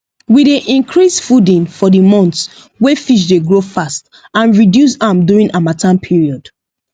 we dey increase fooding for the months wey fish dey grow fast and reduce am during harmattan period